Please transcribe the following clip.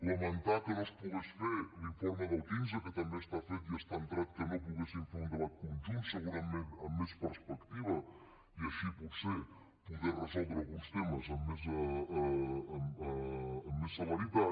lamentar que no es pogués fer l’informe del quinze que també està fet i està entrat que no poguéssim fer un debat conjunt segurament amb més perspectiva i així potser poder resoldre alguns temes amb més celeritat